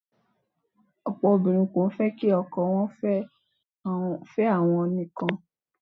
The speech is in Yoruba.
Ọ̀pọ̀ obìnrin fẹ́ kí ọkọ wọ́n fẹ́ àwọn nìkan.